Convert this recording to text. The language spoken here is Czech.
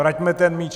Vraťme ten míč...